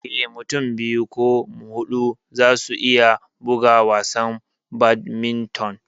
Eh, Mutum biyu ko huɗu za su iya buga wasan Badminton.